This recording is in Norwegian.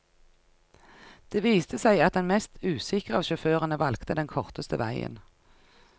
Det viste seg at den mest usikre av sjåførene valgte den korteste veien.